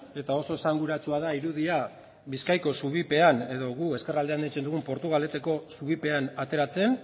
eta oso esanguratsua da irudia bizkaiko zubipean edo guk ezkerraldean deitzen dugun portugaleteko zubipean ateratzen